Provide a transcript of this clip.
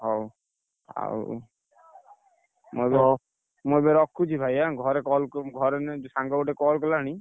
ହଉ, ଆଉ, ମୁଁ ଏବେ, ମୁଁ ଏବେ ରଖୁଛି ଭାଇ ଏଁ ଘରେ call ଘରେ ନୁହେଁ ସାଙ୍ଗ ଗୋଟେ call କଲାଣି।